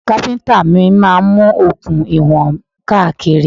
Káfíntà mi máa mú okùn ìwọ̀n káàkiri.